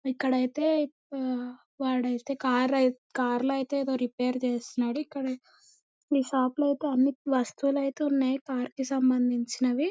ఇక్కడైతే వా వాడైతే కారు ఐత్ కార్ లో ఐతే ఏదో రిపేర్ చేస్తున్నాడు. ఇక్కడ మీ షాప్ లో ఐతే అన్ని వస్తువులైతే ఉన్నాయ్ అన్ని కార్ కి సంబంధించినవి.